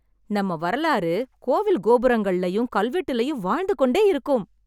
நம்ம வரலாறு கோவில் கோபுரங்கள்லயும், கல்வெட்டுலயும் வாழ்ந்து கொண்டே இருக்கும்.